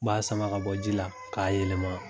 N ba sama ka bɔ ji la ka yelema .